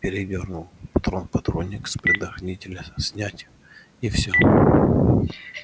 передёрнул патрон в патронник с предохранителя снять и все